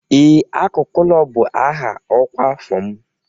Ee, Akụkụ ụlọ bụ aha ọkwa afọ m